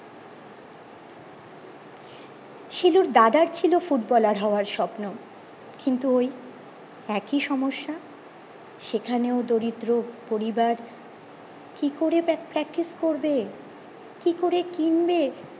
শিলুর দাদার ছিল ফুটবলার হওয়ার স্বপ্ন কিন্তু ওই একি সমস্যা সেখানেও দরিদ্র পরিবার কি করে practice করবে কি করে কিনবে